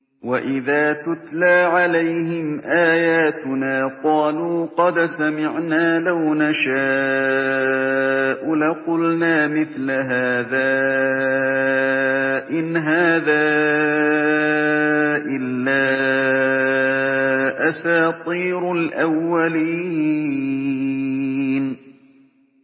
وَإِذَا تُتْلَىٰ عَلَيْهِمْ آيَاتُنَا قَالُوا قَدْ سَمِعْنَا لَوْ نَشَاءُ لَقُلْنَا مِثْلَ هَٰذَا ۙ إِنْ هَٰذَا إِلَّا أَسَاطِيرُ الْأَوَّلِينَ